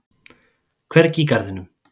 Hvergi í garðinum.